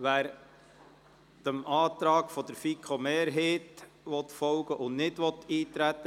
Wer dem Antrag der FiKo-Mehrheit folgen und nicht eintreten will, stimmt Ja,